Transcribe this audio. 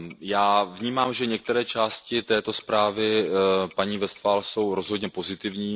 Já vnímám, že některé části této zprávy paní Westphalové jsou rozhodně pozitivní.